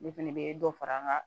Ne fɛnɛ be dɔ fara an ka